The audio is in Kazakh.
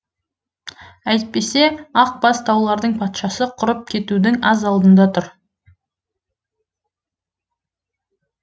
әйтпесе ақ бас таулардың патшасы құрып кетудің аз алдында тұр